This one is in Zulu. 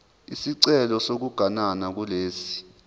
isicelo sokuganana kulesi